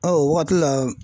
o waati la.